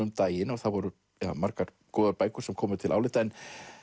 um daginn það voru margar góður bækur sem komu til álita en